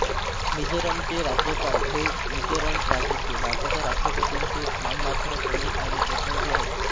मिझोरमचे राज्यपाल हे मिझोरम राज्याचे भारताच्या राष्ट्रपतींचे नाममात्र प्रमुख आणि प्रतिनिधी आहेत